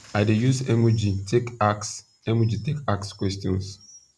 i dey use emoji take ask emoji take ask questions